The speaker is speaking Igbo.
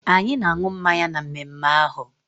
Anyị na-aṅụ mmanya na mmemme ahụ